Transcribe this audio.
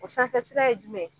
O sanfɛ sira ye jumɛn ye